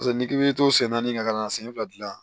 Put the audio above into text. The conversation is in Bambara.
Paseke n'i k'i bɛ to sen naani ka na sen fila dilan